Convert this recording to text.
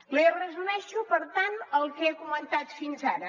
li resumeixo per tant el que he comentat fins ara